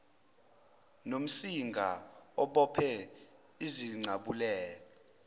nomsinga obophe izincabulela